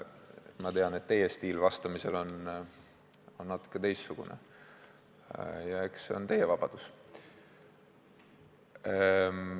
Ma tean, et teie stiil vastamisel on natuke teistsugune, ja eks see ole teie vabadus.